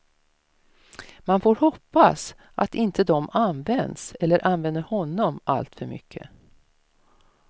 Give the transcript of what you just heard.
Man får hoppas att inte de används eller använder honom alltför mycket.